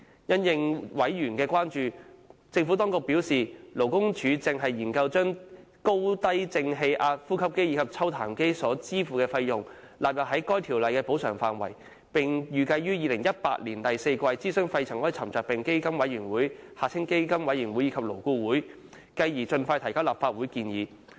因應委員的關注，政府當局表示，勞工處正研究將使用高低正氣壓呼吸機及抽痰機所支付的費用納入《條例》的補償範圍，並預計於2018年第四季諮詢肺塵埃沉着病補償基金委員會和勞工顧問委員會，繼而盡快把相關建議提交立法會。